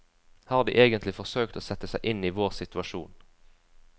Har de egentlig forsøkt å sette seg inn i vår situasjon?